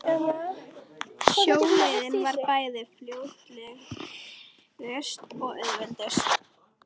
Sjóleiðin var bæði fljótlegust og auðveldust.